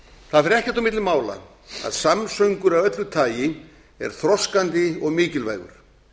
það fer ekkert á milli mála að samsöngur af öllu tagi er þroskandi og mikilvægur